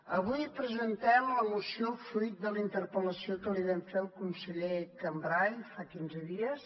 avui presentem la moció fruit de la interpel·lació que li vam fer al conseller cambray fa quinze dies